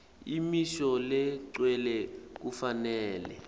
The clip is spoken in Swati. imisho legcwele kufanele